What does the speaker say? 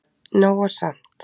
Nóg er samt